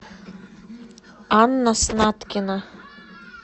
анна снаткина